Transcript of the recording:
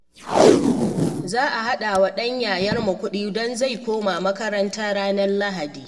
Za a haɗa wa ɗan yayarmu kuɗi don zai koma makaranta ranar Litinin